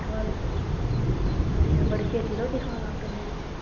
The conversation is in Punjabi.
ਖਲੇ ਅੱਛਾ ਬੜੀ ਛੇਤੀ ਰੋਟੀ ਖਾਣ ਲੱਗ ਪੈਂਦੇ ਜੇ